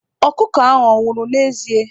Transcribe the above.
Ọkụkọ ahụ anwụrụ n'ezie?